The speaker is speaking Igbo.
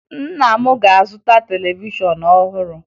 Nna m ga-azụta televishọn ọhụrụ